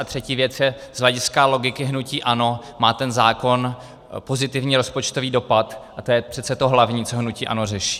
A třetí věc - z hlediska logiky hnutí ANO má ten zákon pozitivní rozpočtový dopad a to je přece to hlavní, co hnutí ANO řeší.